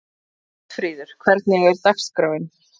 Oddfríður, hvernig er dagskráin?